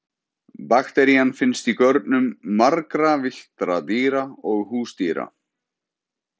Bakterían finnst í görnum margra villtra dýra og húsdýra.